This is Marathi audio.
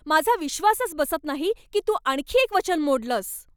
माझा विश्वासच बसत नाही की तू आणखी एक वचन मोडलंस.